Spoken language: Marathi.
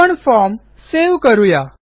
आपणform सेव्ह करू या